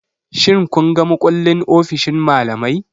Shin kun ga mukullin ofishin malamai?